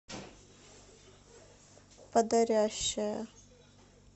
подорящая